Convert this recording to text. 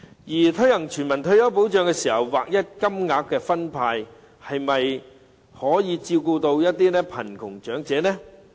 在推行全民退休保障時，分派劃一金額，可否照顧到貧窮長者呢？